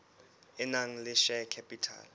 e nang le share capital